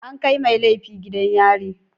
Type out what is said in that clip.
An kai mai laifi gidan yari.